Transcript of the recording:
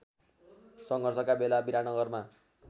सङ्घर्षका बेला विराटनगरमा